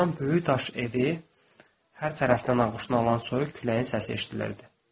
Bayırdan böyük daş evi hər tərəfdən ovuşan soyuq küləyin səsi eşidilirdi.